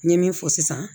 N ye min fɔ sisan